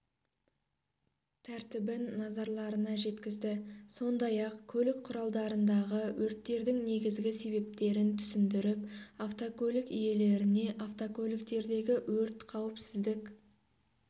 тәртібін назарларына жеткізді сондай-ақ көлік құралдарындағы өрттердің негізгі себептерін түсіндіріп автокөлік иелеріне автокөліктердегі өрт қауіпсіздік